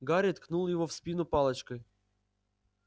гарри ткнул его в спину палочкой